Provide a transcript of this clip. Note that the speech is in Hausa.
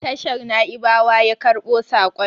tashar Na'ibawa yakarbo sakon